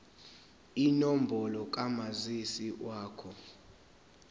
inombolo kamazisi wakho